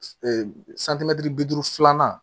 bi duuru filanan